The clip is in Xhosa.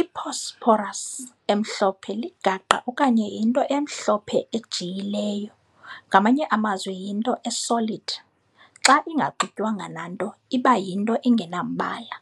I-phosphorus emhlophe ligaqa okanye yinto emhlophe ejiyileyo ngamanye amazwi yinto e-solid. xa ingaxutywanga nanto iba yinnto engenambala.